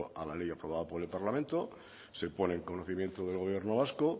a la ley aprobada por el parlamento se pone en conocimiento del gobierno vasco